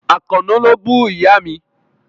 Àkànó ló bú Ìyá mi.